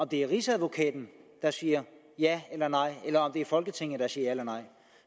det er rigsadvokaten der siger ja eller nej eller om det er folketinget der siger ja eller nej